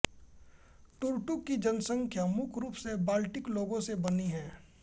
टर्टुक की जनसंख्या मुख्य रूप से बाल्टि लोगों से बनी है